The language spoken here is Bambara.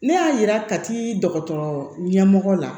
Ne y'a yira ka t'i dɔgɔtɔrɔ ɲɛmɔgɔ la